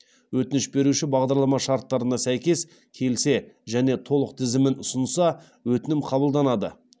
өтініш беруші бағдарлама шарттарына сәйкес келсе және толық тізімін ұсынса өтінім қабылданады